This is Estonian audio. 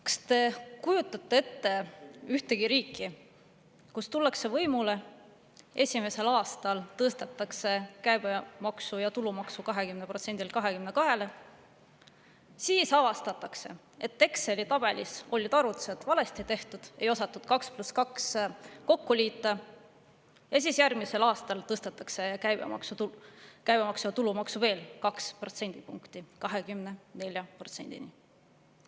Kas te kujutate ette ühte riiki, kus tullakse võimule ning esimesel aastal tõstetakse käibemaks ja tulumaks 20%‑lt 22%‑le, siis avastatakse, et Exceli tabelis on arvutused valesti tehtud, ei osatud 2 + 2 kokku liita, ja siis järgmisel aastal tõstetakse käibemaksu ja tulumaksu veel 2 protsendipunkti, 24%-ni?